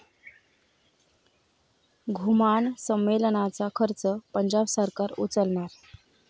घुमान संमेलनाचा खर्च पंजाब सरकार उचलणार